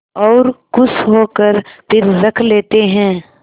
और खुश होकर फिर रख लेते हैं